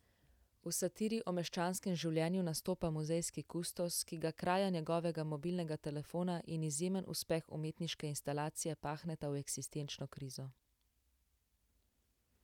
V satiri o meščanskem življenju nastopa muzejski kustos, ki ga kraja njegovega mobilnega telefona in izjemen uspeh umetniške instalacije pahneta v eksistenčno krizo.